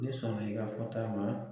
Ne sɔnna i ka fɔta ma .